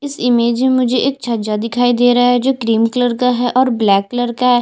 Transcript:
इस इमेज में मुझे एक छज्जा दिखाई दे रहा है जो क्रिम कलर का है और ब्लैक कलर का हैं।